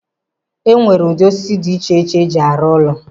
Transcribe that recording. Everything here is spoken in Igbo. E nwere ụdị osisi dị iche iche eji arụ ụlọ.